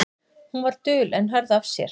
Hún var dul en hörð af sér.